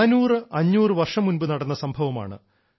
400500 വർഷം മുൻപ് നടന്ന സംഭവമാണ്